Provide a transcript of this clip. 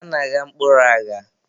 A na-agha mkpụrụ agha.